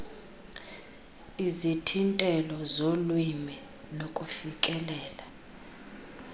izithintelo zolwimi nokufikelela